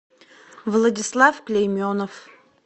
владислав клейменов